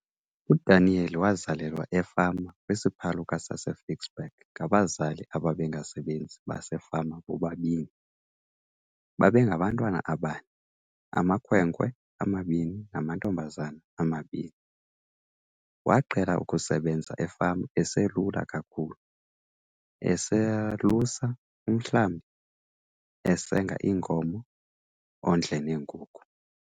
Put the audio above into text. UDaniel wazalelwa efama kwisiphaluka saseFicksburg ngabazali ababengabasebenzi basefama bobabini. Babengabantwana abane - amakhwenkwe amabini namantombazana amabini. Waqhela ukusebenza efama eselula kakhulu, esalusa umhlambi, esenga iinkomo ondle neenkukhu.